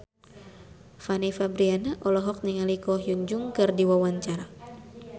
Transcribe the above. Fanny Fabriana olohok ningali Ko Hyun Jung keur diwawancara